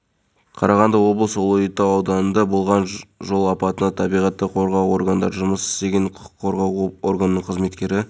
хабарлаған еді олардың құқық қорғау органдары мен көпшілік жиналған жерлерге шабуыл жасауды жоспарлағаны анықталды ведомствоның